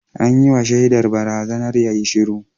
An yi wa shaidar barazanar yayi shiru